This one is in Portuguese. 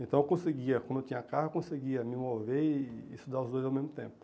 Então eu conseguia, quando eu tinha carro, conseguia me mover e estudar os dois ao mesmo tempo.